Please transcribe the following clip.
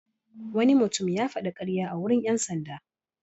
Wani mutum ya faɗi ƙarya a wurin ƴan sanda.